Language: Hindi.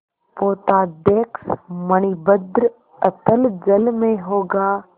पोताध्यक्ष मणिभद्र अतल जल में होगा